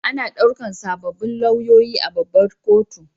Ana ɗaukar sabbin lauyoyi a babbar kotu.